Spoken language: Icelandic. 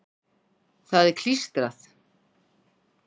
Það er klístrað.